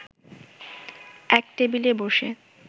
এক টেবিলে বসে